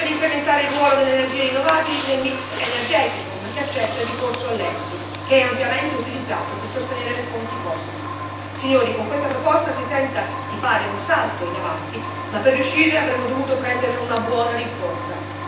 Si tenta di incrementare il ruolo delle energie rinnovabili nel mix energetico, ma si accetta il ricorso al FEIS, che è ampiamente utilizzato per sostenere le fonti fossili. Signori, con questa proposta si tenta di fare un salto in avanti, ma per riuscire avremmo dovuto prendere una buona rincorsa.